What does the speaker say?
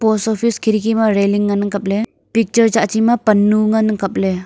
post office khirki railing ngan ang kapley picture tsahchi ma pannu ngan ang kapley.